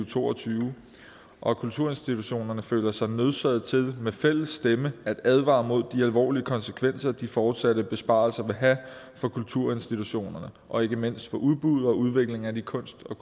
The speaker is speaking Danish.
to og tyve og kulturinstitutionerne føler sig nødsaget til med fælles stemme at advare mod de alvorlige konsekvenser de fortsatte besparelser vil have for kulturinstitutionerne og ikke mindst for udbuddet og udviklingen af de kunst og